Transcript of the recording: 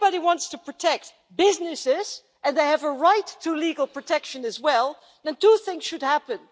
If anybody wants to protect businesses, and they have a right to legal protection as well, then two things should happen.